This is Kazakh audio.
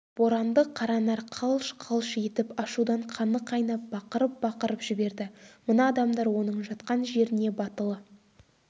боранды қаранар қалш-қалш етіп ашудан қаны қайнап бақырып бақырып жіберді мына адамдар оның жатқан жеріне батылы